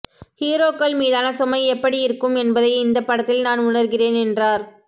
ஹீரோக்கள் மீதான சுமை எப்படி இருக்கும் என்பதை இந்த படத்தில் நான் உணர்கிறேன் என்றார்